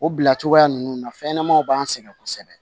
O bila cogoya ninnu na fɛnɲɛnamaw b'an sɛgɛn kosɛbɛ